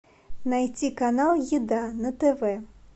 найти канал еда на тв